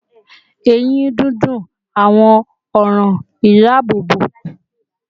Eyin dundun, awọn ọran idaabobo awọ, ati awọn arun gomu ni ipa lori ilera ẹnu